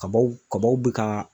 Kabaw kabaw bɛ ka